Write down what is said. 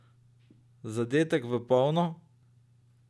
Zadetek v polno?